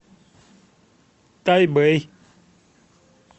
тайбэй